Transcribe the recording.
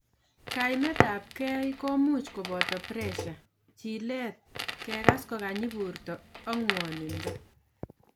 Kaimet ab kei komuch koboto pressure, chilet, kegas kokanyi borto ak ngwonindo